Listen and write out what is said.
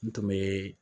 N tun bɛ